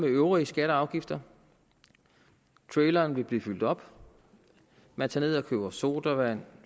øvrige skatter og afgifter traileren vil blive fyldt op man tager ned og køber sodavand